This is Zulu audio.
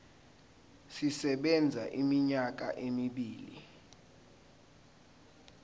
sisebenza iminyaka emibili